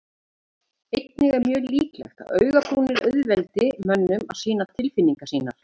Einnig er mjög líklegt að augabrúnir auðveldi mönnum að sýna tilfinningar sínar.